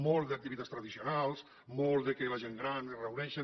molt d’activitats tradicionals molt que la gent gran es reuneixen